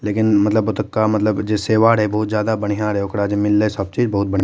लेकिन मतलब ओतोका मतलब जे सेवा रहे बड़ा बढ़िया रहे ओकरा जे मिलले सब चीज बहुत बढ़िया --